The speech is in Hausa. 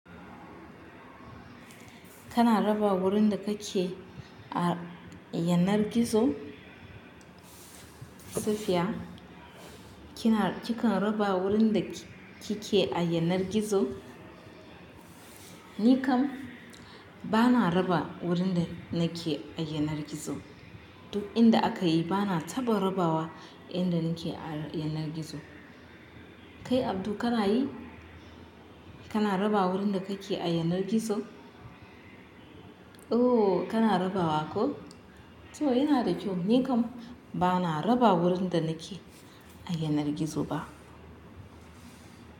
Kana raba wurin da kake a yanar gizo? Kana raba wurin da kake a yanar gizo? Ni kam bana raba wurin da nake a yanar gizo. Duk inda akayi bana taɓa rabawa inda nake s yanar gizo? Kai Abdu kana yi? Kana raba wurin da kake a yanar gizo? Ooh, kana rabawa ko? To yana da kyau. Ni kam bana raba wurin da nake a yanar gizo ba.